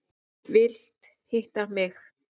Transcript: Vilt hitta mig.